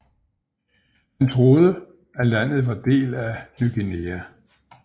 Han troede at landet var del af Ny Guinea